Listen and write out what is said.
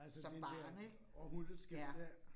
Som barn ik, ja